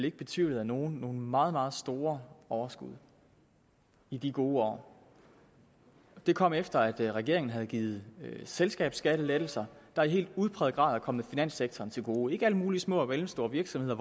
ikke betvivlet af nogen nogle meget meget store overskud i de gode år det kom efter at regeringen havde givet selskabsskattelettelser der i helt udpræget grad er kommet finanssektoren til gode ikke alle mulige små og mellemstore virksomheder